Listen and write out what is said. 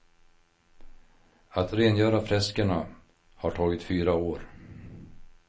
Att rengöra freskerna har tagit fyra år.